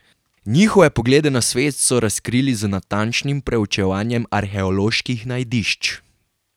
Njihove poglede na svet so razkrili z natančnim preučevanjem arheoloških najdišč.